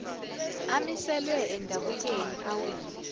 amiselwe endabukweni awile